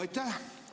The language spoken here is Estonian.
Aitäh!